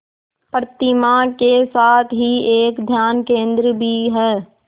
प्रतिमा के साथ ही एक ध्यान केंद्र भी है